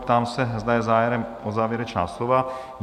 Ptám se, zda je zájem o závěrečná slova?